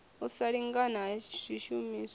u sa lingana ha swishumiswa